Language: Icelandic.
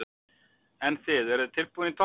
En þið, eruð þið tilbúin í toppbaráttu?